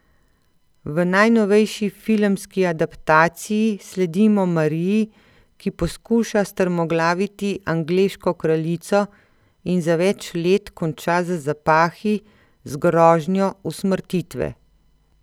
V najnovejši filmski adaptaciji sledimo Mariji, ki poskuša strmoglaviti angleško kraljico in za več let konča za zapahi z grožnjo usmrtitve.